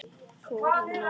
Þóra Nanna.